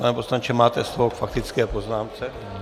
Pane poslanče, máte slovo k faktické poznámce.